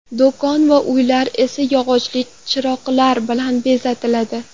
Do‘kon va uylar esa yog‘li chiroqlar bilan bezatiladi.